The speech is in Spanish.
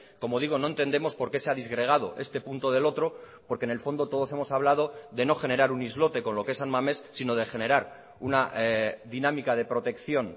como digo no entendemos por qué se ha disgregado este punto del otro porque en el fondo todos hemos hablado de no generar un islote con lo que es san mamés sino de generar una dinámica de protección